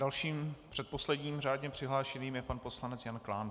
Dalším, předposledním řádně přihlášeným je pan poslanec Jan Klán.